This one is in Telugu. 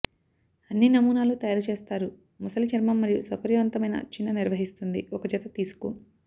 అన్ని నమూనాలు తయారు చేస్తారు మొసలి చర్మం మరియు సౌకర్యవంతమైన చిన్న నిర్వహిస్తుంది ఒక జత తీసుకు